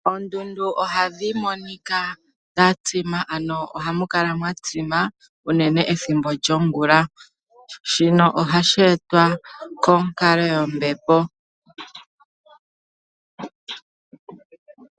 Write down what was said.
Oondundu ohadhi monika dha tsima ano ohamu kala mwa tsima, unene ethimbo lyongula. Shino ohashi etwa konkalo yombepo.